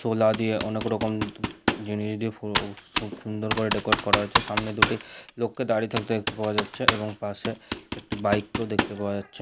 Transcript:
চোলা দিয়ে অনেকরকম জিনিস দিয়ে ফু খুব সুন্দর ভাবে ডেকোরেট করা হয়েছে সামনে দুটি লোককে দাঁড়িয়ে থাকতে দেখতে পাওয়া যাচ্ছে এবং পাশে একটি বাইক কেও দেখতে পাওয়া যাচ্ছে।